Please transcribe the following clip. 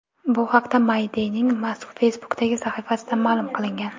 Bu haqda My Day’ning Facebook’dagi sahifasida ma’lum qilingan .